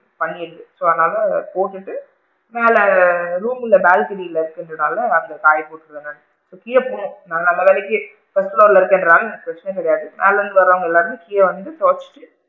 பண்ணி இருக்கு so அதனால போட்டுட்டு மேல room ல balcony இருக்கிறதுனால அங்க காய போட்டுக்கலாம் இப்ப கீழ போய் நல்ல வேலைக்கு first floor ல இருக்கிரவுங்களுக்கு அதுல இருந்து வரவுங்க எல்லாருமே கீழ வந்து துவச்சிட்டு,